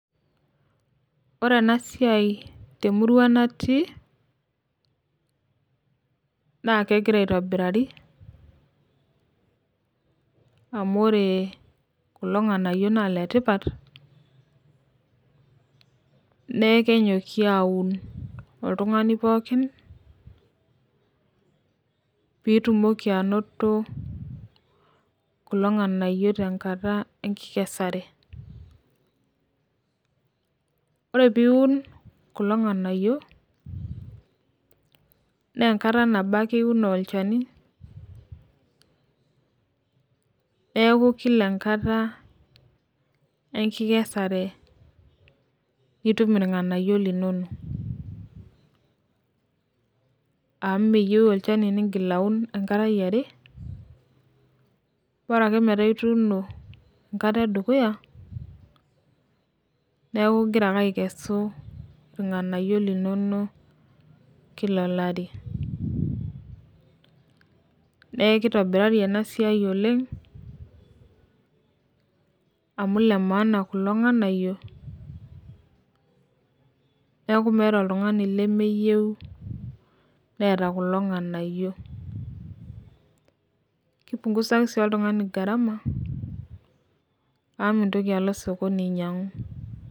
Ore ena siai te murua natii naa kegira aitobirari amu ore kulo nganiyio naa letipat neeku kenyoki aun oltumgani pookin pitumoki anoto kulo ng'anayio te nkata enkesare. Ore pee iun kulo ng'anayio naa enkata nabo ake iun olchani neeku lila enkata enkesare itum itum irnganayio linonok. Amu meyeu olchani nigil aun enkata eare bora ake meeta itiuno enkata edukuya neeku igira ake akesu inganayio linono kila olari. Neeku kitobirari ena siai oleng' amu ile maana nganayio neeku meeta oltung'ani loyio neemeta kulo nganyio naa ki punguza sii gharama amu meyeu nintoki alo sokoni ainyangu.